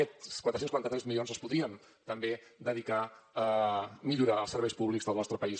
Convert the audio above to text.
aquests quatre cents i quaranta tres milions es podrien també dedicar a millorar els serveis públics del nostre país